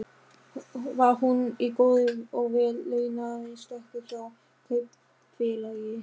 Var hún í góðri og vel launaðri stöðu hjá Kaupfélagi